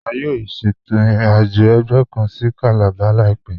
A yóò ṣétò ìrìn-àjọ̀ ẹgbẹ̀ kàn sí Calabar láìpẹ̀.